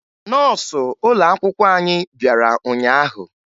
Nọọsụ ụlọakwụkwọ anyị bịara ụnyaahụ